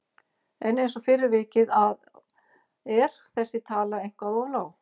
En eins og fyrr er vikið að er þessi tala eitthvað of lág.